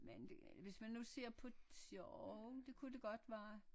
Men det hvis man nu ser på tjo det kunne det godt være